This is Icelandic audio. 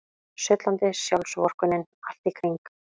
Sullandi sjálfsvorkunnin allt í kring.